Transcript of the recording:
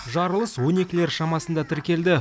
жарылыс он екілер шамасында тіркелді